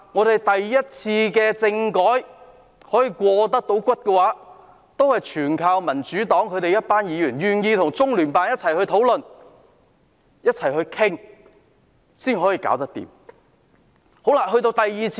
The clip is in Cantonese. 第一次香港政改可以成功，也有賴民主黨一眾議員願意與中央人民政府駐香港特別行政區聯絡辦公室討論。